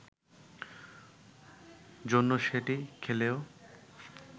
জন্য সেটি খেলেও